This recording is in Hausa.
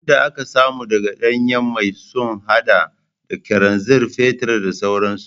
Man da aka samu daga danyen mai sun hada da kananzir, fetur da sauransu